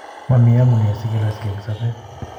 momi omunee sikeloskei eng sobeet